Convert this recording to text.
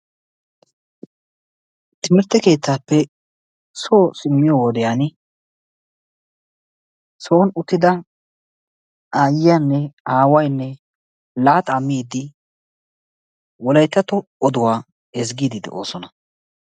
timirte keettaappe soo simmiyo wodiyan aayiyanne aawaynne laaxaa miidi wolayttatto oduwa ezgiidi de'oososna.